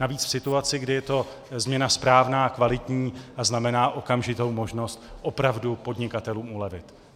Navíc v situaci, kdy je to změna správná, kvalitní a znamená okamžitou možnost opravdu podnikatelům ulevit.